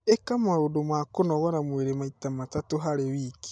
ĩka maũndũ ma kũnogora mwĩrĩ maita matatũ harĩ wiki